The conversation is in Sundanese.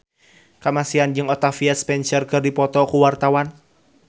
Kamasean jeung Octavia Spencer keur dipoto ku wartawan